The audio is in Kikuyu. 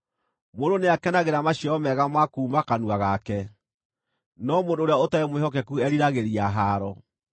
Mũndũ nĩakenagĩra maciaro mega ma kuuma kanua gake, no mũndũ ũrĩa ũtarĩ mwĩhokeku eeriragĩria haaro.